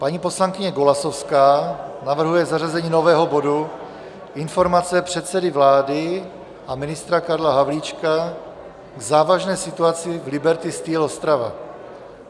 Paní poslankyně Golasowská navrhuje zařazení nového bodu Informace předsedy vlády a ministra Karla Havlíčka k závažné situaci v Liberty Steel Ostrava.